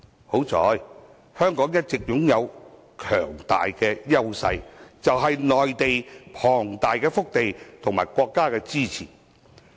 幸好，香港一直擁有強大優勢，便是內地龐大的腹地和國家的支持。